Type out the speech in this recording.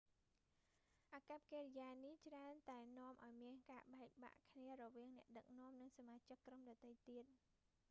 អាកប្បកិរិយានេះច្រើនតែនាំឱ្យមានការបែកបាក់គ្នារវាងអ្នកដឹកនាំនិងសមាជិកក្រុមដទៃទៀត